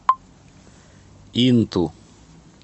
инту